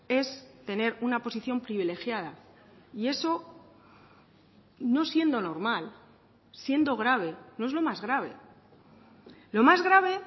es tener una posición privilegiada y eso no siendo normal siendo grave no es lo más grave lo más grave